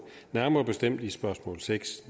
nærmere bestemt i spørgsmål seks